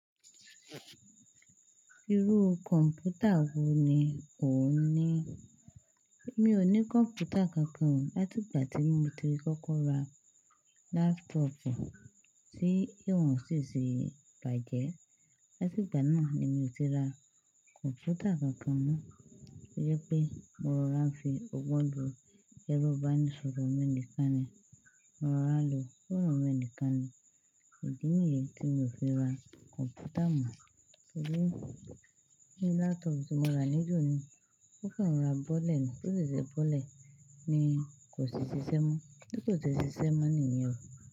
Irú kọ̀npútà wò ní ò ń ní? Mi ò ní kọ̀mpútà kankan láti ìgbà tí mo ti kọkọ ra laptọpu tí ìwọ̀n sì ti bàjẹ́. Láti ìgbà náà ni mi ò ti ra kọ̀mpútà kankan mọ́. Ó yẹ pé mo rọrà fi ọgbọ́n lo ẹrọ ibá ní ṣòro mẹ́ẹ̀níkan ni. Mo rọrà lo, foónu mi níkan ni. Idí nìyẹn tí mi ò fi ra kọ̀mpútà mọ́. Nígbà tí laptopu tí mo ra níjọ́'ni ó kan rora bọ́lẹ̀ ni. Tó sì ṣe bọ́lẹ̀ ni kò sì ṣiṣẹ́ mọ́. Bí kò ṣe ṣiṣẹ́ mọ́ nìyẹn.